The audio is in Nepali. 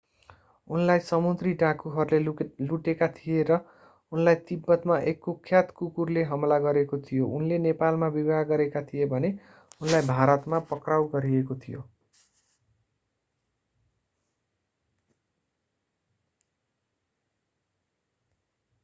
उनलाई समुद्री डाँकुहरूले लुटेका थिए र उनलाई तिब्बतमा एक कुख्यात कुकुरले हमला गरेको थियो उनले नेपालमा विवाह गरेका थिए भने उनलाई भारतमा पक्राउ गरिएको थियो